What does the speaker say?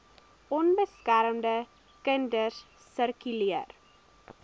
onbeskermde kinders sirkuleer